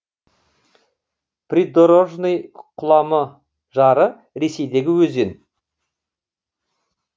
придорожный құлама жары ресейдегі өзен